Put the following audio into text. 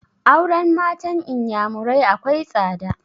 Auren matan inyamurai akwai tsada